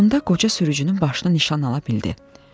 Sonda qoca sürücünün başını nişan ala bildi.